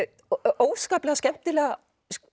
óskaplega skemmtileg